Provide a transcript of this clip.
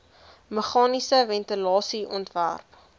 meganiese ventilasie ontwerp